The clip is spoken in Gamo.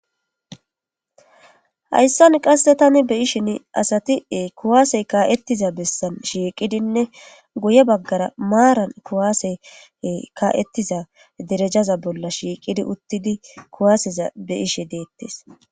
Haysan qase tani beyishn asati kuwaasey ka'etiza besan shiiqidinne guya bagara maran kuwasey ka'etiza detejaza bolla shiiqid utidi kuwaseza beyishe detes